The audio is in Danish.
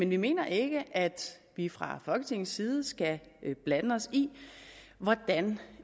vi mener ikke at vi fra folketingets side skal blande os i hvordan